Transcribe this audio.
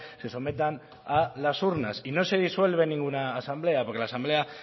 se sometan a las urnas y no se disuelve ninguna asamblea porque la asamblea